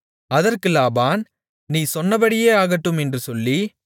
அதற்கு லாபான் நீ சொன்னபடியே ஆகட்டும் என்று சொல்லி